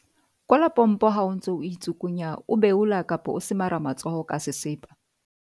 Kwala pompo ha o ntse o itsukunya, o beola kapa o semara matsoho ka sesepa.